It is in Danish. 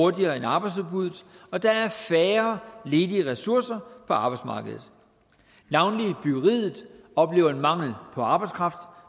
hurtigere end arbejdsudbuddet og der er færre ledige ressourcer på arbejdsmarkedet navnlig byggeriet oplever en mangel på arbejdskraft